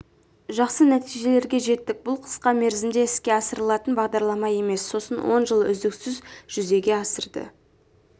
жақсы нәтижелерге жеттік бұл қысқа мерзімде іске асырылатын бағдарлама емес сосын оны жыл үздіксіз жүзеге асырды